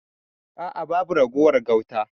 A'a babu ragowar gauta.